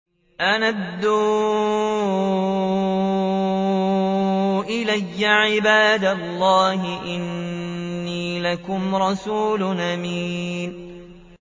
أَنْ أَدُّوا إِلَيَّ عِبَادَ اللَّهِ ۖ إِنِّي لَكُمْ رَسُولٌ أَمِينٌ